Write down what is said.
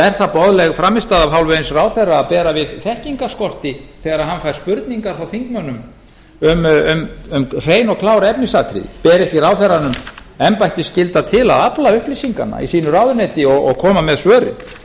er það boðleg frammistaða af hálfu eins ráðherra að bera við þekkingarskorti þegar hann fær spurningar frá þingmönnum um hrein og klár efnisatriði ber ekki ráðherranum embættisskylda til að afla upplýsinganna í ráðuneyti sínu og koma með svörin